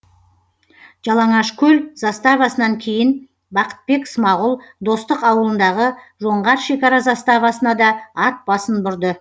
жалаңашкөл заставасынан кейін бақытбек смағұл достық ауылындағы жоңғар шекара заставасына да ат басын бұрды